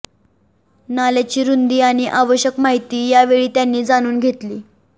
नाल्याची रूंदी आणि आवश्यक माहिती यावेळी त्यांनी जाणून घेतली